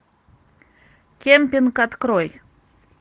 кемпинг открой